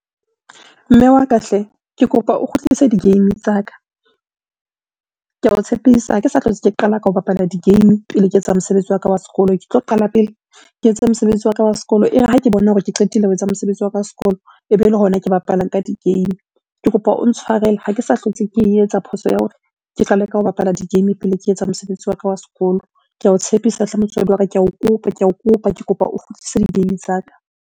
Mme wa ka hle! Ke kopa o kgutlise di-game tsa ka. Ke ao tshepisa ha ke sa hlotse ke qala ka ho bapala di-game pele ke etsa mosebetsi wa ka wa sekolo. Ke tlo qala pele ke etse mosebetsi wa ka wa sekolo, ere ha ke bona hore ke qetile ho etsa mosebetsi wa ka wa sekolo ebe ele hona ke bapalang ka di-game. Ke kopa o ntshwarele, ha ke sa hlotse ke e etsa phoso ya hore ke qale ka ho bapala di-game pele ke etsa mosebetsi wa ka wa sekolo. Ke ao tshepisa hle motswadi wa ka, ke ao kopa, ke ao kopa. Ke kopa o kgutlise di-game tsa ka.